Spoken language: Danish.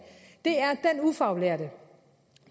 ufaglærte